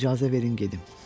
İcazə verin gedim.